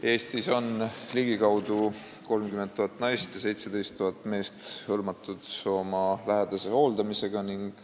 Eestis on ligikaudu 30 000 naist ja 17 000 meest hõlmatud oma lähedase hooldamisega.